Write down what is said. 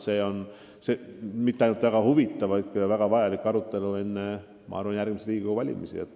See oleks mitte ainult väga huvitav, vaid ka väga vajalik arutelu enne järgmisi Riigikogu valimisi.